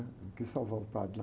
Ele quis salvar o padre lá.